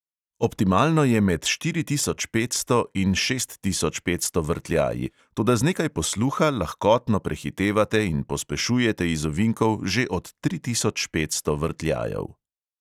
Optimalno je med štiri tisoč petsto in šest tisoč petsto vrtljaji, toda z nekaj posluha lahkotno prehitevate in pospešujete iz ovinkov že od tri tisoč petsto vrtljajev.